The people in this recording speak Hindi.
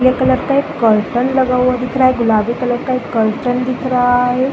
पीले कलर का एक कर्टेन लगा हुआ दिख रहा है गुलाबी कलर का एक कर्टेन दिख रहा है।